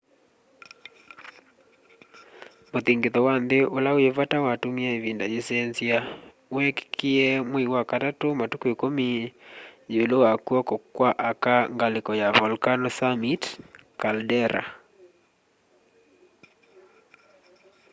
muthingithu wa nthi ula wi vata watumie ivinda yiisenzya weekikie mwei wa katatu matuku 10 yiulu wa kw'oko kwa aka ngaliko ya volcano summit caldera